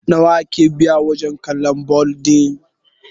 nawa ake biya wajen kallon bal ɗin!?